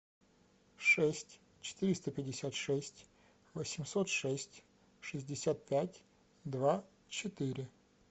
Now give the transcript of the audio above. шесть четыреста пятьдесят шесть восемьсот шесть шестьдесят пять два четыре